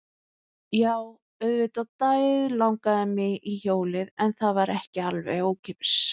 Jú, auðvitað dauðlangaði mig í hjólið en það var ekki alveg ókeypis.